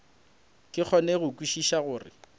ke kgone go kwešiša gore